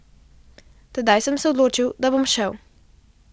Tedaj sem se odločil, da bom šel.